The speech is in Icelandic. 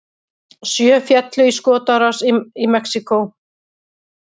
Sjö féllu í skotárás í Mexíkó